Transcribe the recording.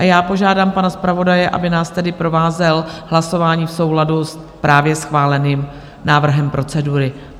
A já požádám pana zpravodaje, aby nás tedy provázel hlasováním v souladu s právě schváleným návrhem procedury.